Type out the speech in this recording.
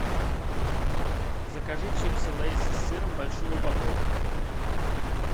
закажи чипсы лейс с сыром большую упаковку